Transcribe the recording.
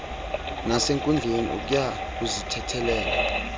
nasenkundleni ukya kuzithethelela